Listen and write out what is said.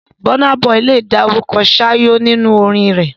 Burna Boy lè dárúkọ 'ṣáyó' nínú orin rẹ̀.